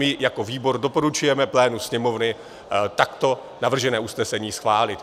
My jako výbor doporučujeme plénu Sněmovny takto navržené usnesení schválit.